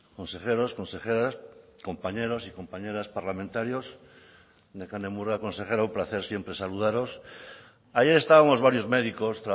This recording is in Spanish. consejeros consejeras compañeros y compañeras parlamentarios nekane murga consejera un placer siempre saludaros ayer estábamos varios médicos